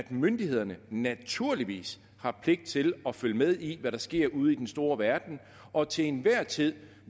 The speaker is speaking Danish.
myndighederne naturligvis har pligt til at følge med i hvad der sker ude i den store verden og til enhver tid